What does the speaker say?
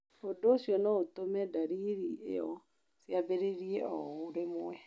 Ũndũ ũcio no ũtũme ndariri ĩyo ciambĩrĩrie o rĩmwe.